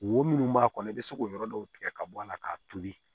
Wo minnu b'a kɔnɔ i bɛ se k'o yɔrɔ dɔw tigɛ ka bɔ a la k'a tobi